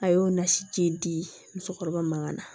A y'o nasi di musokɔrɔba mankan na